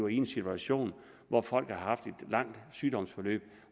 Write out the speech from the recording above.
i en situation hvor folk havde haft et langt sygdomsforløb